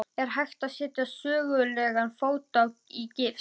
Er hægt að setja sögulegan fót í gifs?